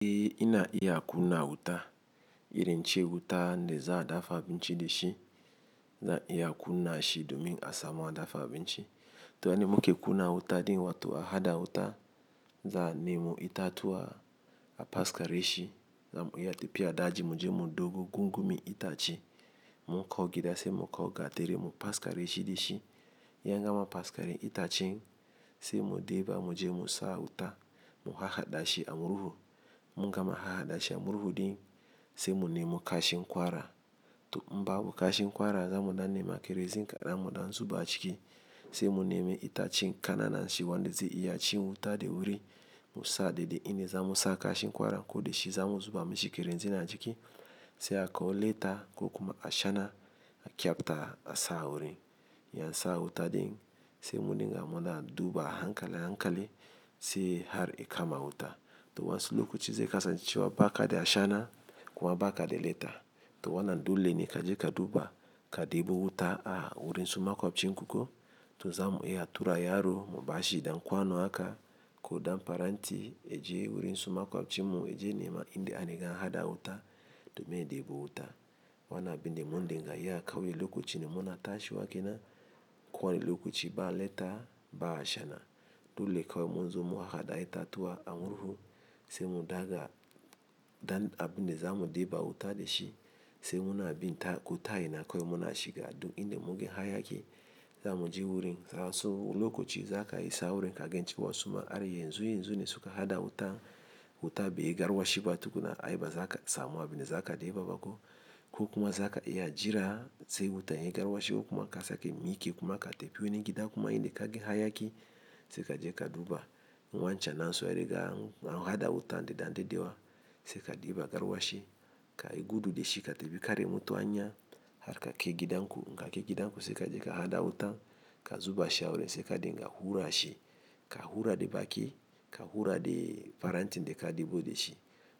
E ina iya kunna wuta, irin ce wuta ne za a dafa abinci da shi, za a iya kunna shi domin a samu a dafa abinci. Ta nan muke kunna wuta ɗin wato a haɗa wuta, za'a nemo itatuwa a fasakare shi, muna tafiya daji muje nemo gungume itace, mun kaww gida sai mu kawo gatari mu faskare shi dashi in an gama paskari itacen sai mu ɗiba muje mu sa wuta mu hahaɗashi a murhu. In mun gama har hadashi a murhu, sai mu nemo kashin ƙwara to in babu kashi ƙwara za mu ɗan nema kerosene, kaɗan mu ɗan zuba ciki. Sai mu nemo itacen ƙananan shi wanda zai iya ci wuta da wuri mu sa daidai ina za mu sa kashi ƙwara ko da shi za mu zuba mishi kerosene na ciki sai akawo leta ko kuma ashana a ƙyabta a sa wurin. Yan sa wuta ɗin sai mu dinga muna duba hankali hankali sai har ya kama wuta. To wa'insu lokaci zai kasan cewa ba ka da ashana kuma ba ka da leta. To wannan dole ne kaje ka duba, ka ɗebo wuta wajen makoficinku ko to za mu iya tura yaro mubashi ɗan kwano haka ko ɗan farenti yaje wurin su makwabcin mu yaje nema inda ariga an haɗa wuta domin ɗebo wuta. Wannan abunda mun dinga iya ƙauye lokacin mun na tashiwa kenan kuwa ne lokaci ba leta ba ashana. Dole kawai mun zo mu hahaɗa itatuwa a murhu sai mu ɗaga ɗan abin da za mu ɗeba wuta da shi. Sai munabin ta ko ta ina kawai muna shiga duk inda munga hayaƙi zamuje wurin, nasan wani lokaci zaka isa wurin kagan cewa suma ai yanzu yanzunnan suka haɗa wuta, wutan baiyi garwashi ba tukunna. Ai bazaka samu abunda zaka ɗeba ba ko? Ko kuma za ka iya jira sai wuta ya yi garwashe ko kuma ka sake miƙe kuma ka tafi wani gida kuma inda ka ganshi hayaki sai kaje ka duba. Wancan nasu an riga an haɗa wutan nasu da daɗewa, sai ka ɗiba garwashi ka gudu da shi ka tafi karya mutu a hanya har ka kai gidan ku. In ka kai gidan ku sai kaje ka hada wuta ka zuba sha wurin sai ka dinga hura shi. Ka hura da baki, ka hura da farantin da ka ɗebo da shi.